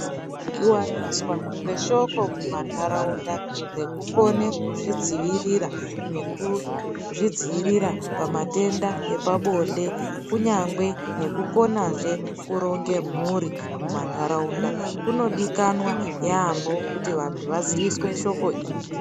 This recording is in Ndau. Kuwaniswa kweshoko mumandarawunda rekukone kuzvidzivirira, nekuzvidziyirira pamatenda epabonde, kunyangwe nekukona zve kuronge mhuri mumandharawunda. Kunodikwana yambo kuti vantu vaziviswe shoko iri.